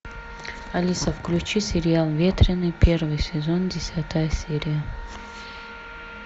алиса включи сериал ветреный первый сезон десятая серия